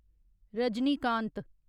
Rajinikanth